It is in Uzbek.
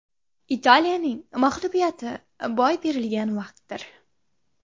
Italiyaning mag‘lubiyati boy berilgan vaqtdir.